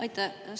Aitäh!